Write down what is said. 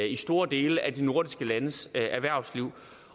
i store dele af de nordiske landes erhvervsliv